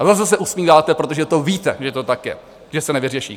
A zase se usmíváte, protože to víte, že to tak je, že se nevyřeší.